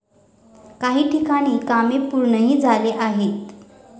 काही ठिकाणी कामे पूर्णही झाले आहेत.